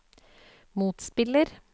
motspiller